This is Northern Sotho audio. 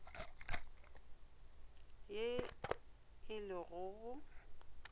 ye e le go go